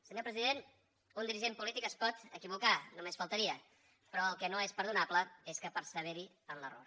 senyor president un dirigent polític es pot equivocar només faltaria però el que no és perdonable és que perseveri en l’error